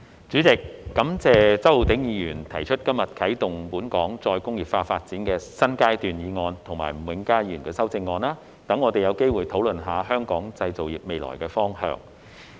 主席，感謝周浩鼎議員今天提出"啟動本港再工業化發展的新階段"議案及吳永嘉議員的修正案，讓我們有機會討論香港製造業的未來方向。